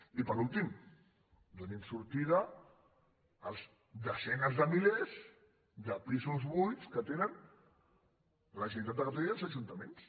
i per últim donin sortida a les desenes de milers de pisos buits que tenen la generalitat de catalunya i els ajuntaments